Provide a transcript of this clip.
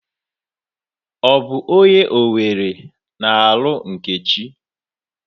Ọ bụ onye Owere na-alụ Nkechi.